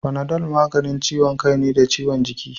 Panadol maganin ciwon kai ne da ciwon jiki